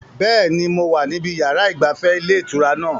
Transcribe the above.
Bẹ́ẹ̀ni, mo wà níbi yàrá ìgbafẹ́ ilé ìtura náà